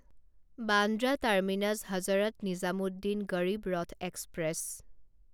Bandra terminus Hazrat Nizamuddin Garib Rath express